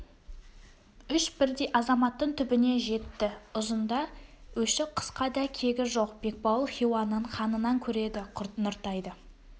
үш бірдей азаматтың түбіне жетті ұзында өші қысқа да кегі жоқ бекбауыл хиуаның ханынан көреді нұртайды